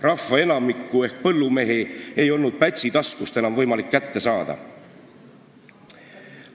Rahva enamikku ehk põllumehi ei olnud Pätsi taskust enam võimalik kätte saada.